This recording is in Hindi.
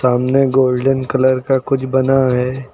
सामने गोल्डन कलर का कुछ बना है।